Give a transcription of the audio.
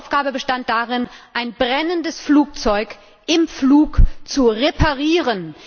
Die Aufgabe bestand darin, ein brennendes Flugzeug im Flug zu reparieren.